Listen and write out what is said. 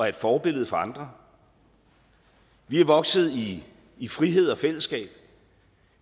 et forbillede for andre vi er vokset i i frihed og fællesskab